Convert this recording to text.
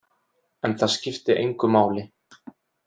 En það skipti engu máli.